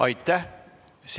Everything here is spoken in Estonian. Aitäh!